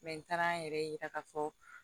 n taara an yɛrɛ yira k'a fɔ